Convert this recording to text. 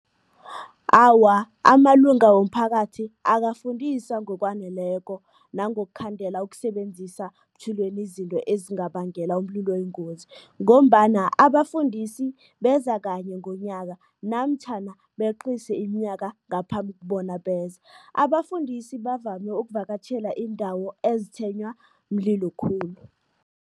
Awa, amalunga womphakathi akafundiswa ngokwaneleko nangokukhandela ukusebenzisa butjhilweni izinto ezingabangela umlilo oyingozi ngombana abafundisi beza kanye ngonyaka namtjhana beqise iminyaka ngaphambi bona beze. Abafundisi bavame ukuvakatjhela iindawo ezitshwenywa mlilo khulu.